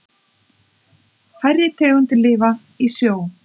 Færri tegundir lifa í sjó.